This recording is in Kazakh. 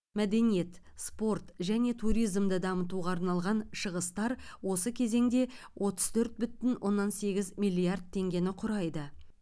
мәдениет спорт және туризмді дамытуға арналған шығыстар осы кезеңде отыз төрт бүтін оннан сегіз миллиард теңгені құрайды